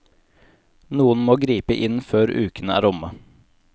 Noen må gripe inn før uken er omme.